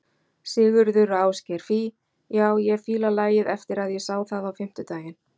Sigurður og Ásgeir: Fí, já ég fíla lagið eftir að ég sá það á fimmtudaginn?